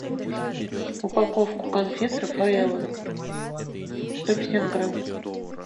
упаковку конфет рафаэлло сто пятьдесят грамм